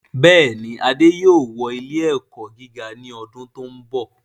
Bẹ́ẹ̀ni, Adé yóò wọ ilẹ́ ẹ̀kọ́ gíga ní ọdún tí ó ń bọ̀